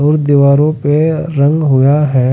और दीवारों पे रंग हुआ है।